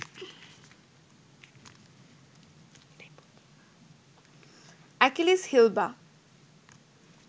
Achilles heel বা